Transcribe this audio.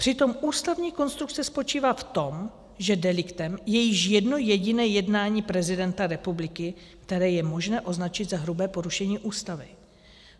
Přitom ústavní konstrukce spočívá v tom, že deliktem je již jedno jediné jednání prezidenta republiky, které je možné označit za hrubé porušení Ústavy.